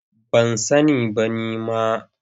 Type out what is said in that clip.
Ban sani ba nima.